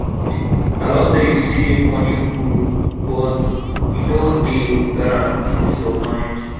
i don tell you sey moni good o but e no dey guaranty peace of mind.